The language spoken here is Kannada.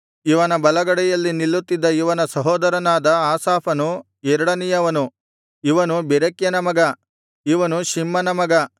ಇವನ ಬಲಗಡೆಯಲ್ಲಿ ನಿಲ್ಲುತ್ತಿದ್ದ ಇವನ ಸಹೋದರನಾದ ಆಸಾಫನು ಎರಡನೆಯವನು ಇವನು ಬೆರೆಕ್ಯನ ಮಗ ಇವನು ಶಿಮ್ಮನ ಮಗ